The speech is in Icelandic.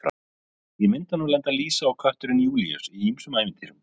Í myndunum lenda Lísa og kötturinn Júlíus í ýmsum ævintýrum.